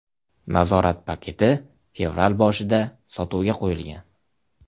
Nazorat paketi fevral boshida sotuvga qo‘yilgan .